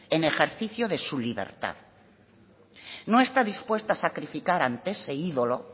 en ejercicio de su libertad no está dispuesto a sacrificar ante ese ídolo